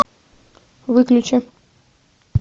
выключи